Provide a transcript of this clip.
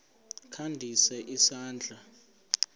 kha ndise isandla